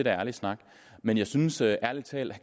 er ærlig snak men jeg synes ærlig talt at